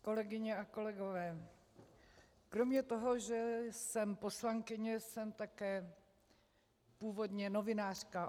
Kolegyně a kolegové, kromě toho, že jsem poslankyně, jsem také původně novinářka.